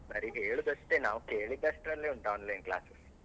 ಬರಿ ಹೇಳುದಷ್ಟೇ ನಾವ್ ಕೇಳಿದಷ್ಟರಲ್ಲೇ ಉಂಟು Online class.